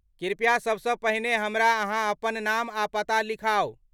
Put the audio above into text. कृपया सबसँ पहिने हमरा अहाँ अपन नाम आ पता लिखाउ।